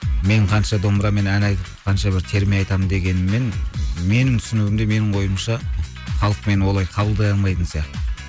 мен қанша домбырамен ән айтып қанша бір терме айтамын дегеніммен менің түсінігімде менің ойымша халық мені олай қабылдай алмайтын сияқты